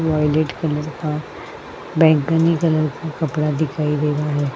Violet colour का बैंगनी colour का कपड़ा दिखाई दे रहा है।